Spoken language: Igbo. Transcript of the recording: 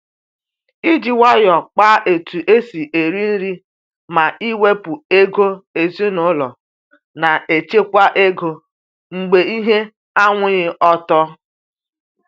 iji nwayọ kpa etu esi eri nri ma iwepu ego ezinaụlọ na echekwa ego mgbe ihe anwụghị ọtọ.